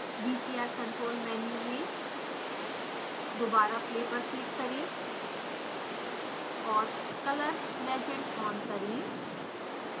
vcr control menu में दोबारा play पर क्लिक करें और color legend on करें